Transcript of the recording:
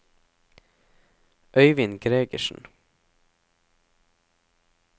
Øivind Gregersen